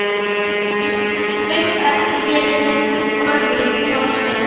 Veit að ég hef orðið of sein.